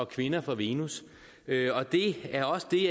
kvinder er fra venus og det er også det